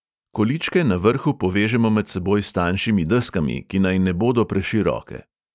Količke na vrhu povežemo med seboj s tanjšimi deskami, ki naj ne bodo preširoke.